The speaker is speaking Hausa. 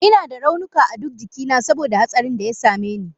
Ina da raunuka a duk jikina saboda hatsarinda ya same ni.